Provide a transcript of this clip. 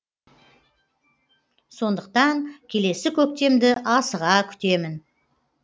сондықтан келесі көктемді асыға күтемін